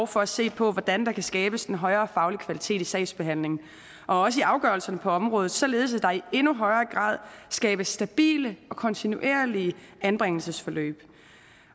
for at se på hvordan der kan skabes en højere faglig kvalitet i sagsbehandlingen og i afgørelserne på området således at der i endnu højere grad skabes stabile og kontinuerlige anbringelsesforløb